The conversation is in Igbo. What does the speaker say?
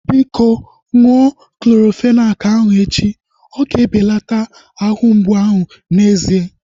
Biko, ṅụọ Clorofenak ahu echi. Oga ebelata ahụ mgbu ahu n'ezie